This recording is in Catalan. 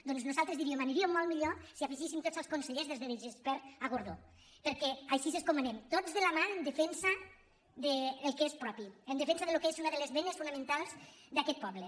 doncs nosaltres diríem aniríem molt millor si hi afegíssim tots els consellers des de de gispert a gordó perquè així és com anem tots de la mà en defensa del que és propi en defensa del que és una de les venes fonamen·tals d’aquest poble